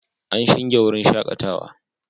An shinge wurin shakatawa